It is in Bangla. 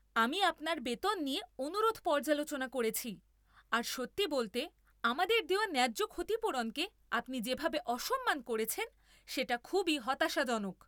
আমি আপনার বেতন নিয়ে অনুরোধ পর্যালোচনা করেছি আর সত্যি বলতে, আমাদের দেওয়া ন্যায্য ক্ষতিপূরণকে আপনি যেভাবে অসম্মান করেছেন সেটা খুবই হতাশাজনক।